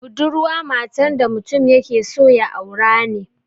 Budurwa matan da mutum yake so ya aura ne